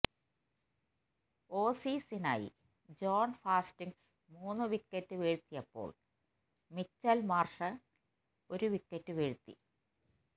ഓസീസിനായി John Hastings മൂന്നു wicket വീഴ്ത്തിയപ്പോള് Mitchell Marsh ഒരുവിക്കറ്റു വീഴ്ത്തി